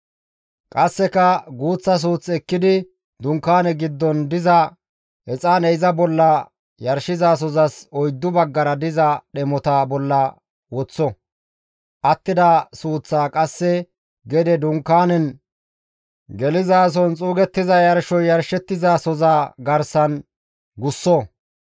Qasseka guuththa suuth ekkidi Dunkaane giddon diza exaane iza bolla yarshizasozas oyddu baggara diza dhemota bolla woththo; attida suuththaa qasse gede Dunkaanen gelizason xuugettiza yarshoy yarshettizasoza garsan gusso.